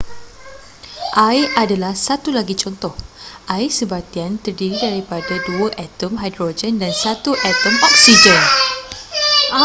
air adalah satu lagi contoh.air sebartian terdiri daripada dua atom hidrogen dan satu atom oksigen